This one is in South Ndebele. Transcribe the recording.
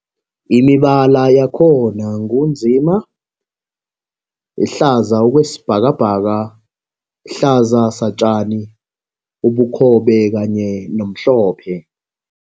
Imibala yakhona ngu nzima, hlaza okwesibhakabhaka, hlaza satjani, ubukhobe kanye nomhlophe.